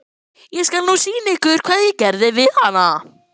Ég skal nú sýna ykkur hvað ég geri við hana!